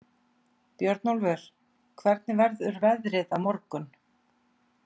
Björnólfur, hvernig verður veðrið á morgun?